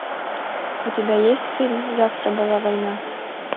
у тебя есть фильм завтра была война